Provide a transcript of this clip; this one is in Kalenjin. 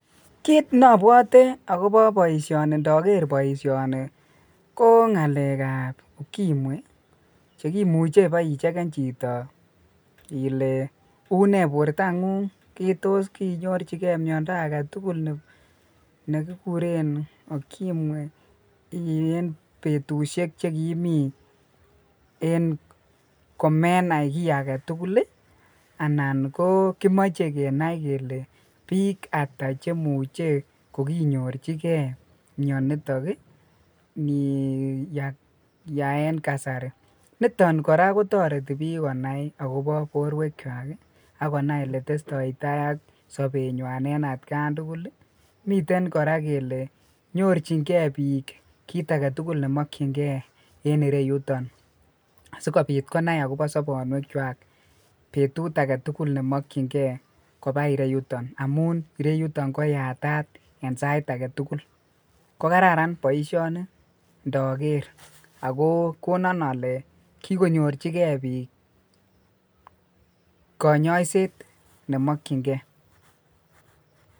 Kiit nobwote akobo boishoni ndoker boishoni ko ng'alekab ukimwi chekimuche ibeicheken chito ilee unee bortangung, toos kiinyorchike miondo aketukul nekikuren ukimwi en betushek chekimii en komenai kii aketukul anan ko kimoche Kenai kelee biik ataa chemuche ko kinyorchike mionitok niyaa en kasari, niton kora kotoreti biik konai akobo borwekwak ak konai oletestoi taai AK sobenywan en atkan tukul, miten kora kelee nyorching'e biik kiit aketukul nemokying'e en ireyuton asikobit konai akobo sobonwekwak betut aketukul nemokying'e kobaa ireyuton amun ireyuton koyatat en sait aketukul, ko kararan boishoni ndoker ak ko konin olee kikonyorchike biik konyoiset nemokying'e.